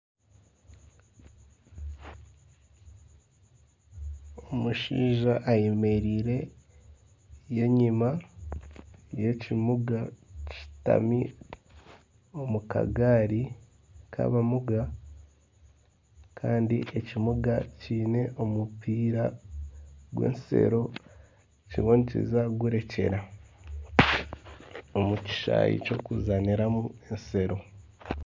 Omushaija ayemereire n'enyuma y'ekimuga ari omu kagaari kabamuga. Kandi ekimuga kiine omupiira gw'ensero kiriyo nikiza kugurekyera omu kishaayi ky'okuzaaniramu ensero.